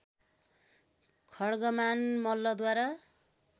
खड्गमान मल्लद्वारा